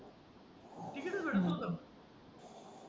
ticket भेटत नव्हत